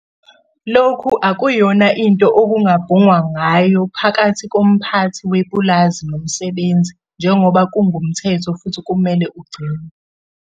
Lokhu akuyona into okungabhungwa ngayo phakathi komphathi wepulazi nomsebenzi njengoba kungumthetho futhi kumele ugcinwe.